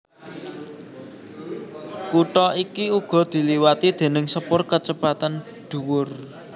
Kutha iki uga diliwati déning sepur kacepetan dhuwur